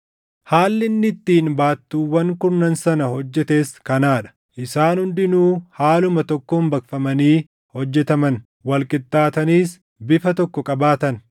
Haalli inni ittiin baattuuwwan kurnan sana hojjetes kanaa dha. Isaan hundinuu haaluma tokkoon baqfamanii hojjetaman; wal qixxaataniis bifa tokko qabaatan.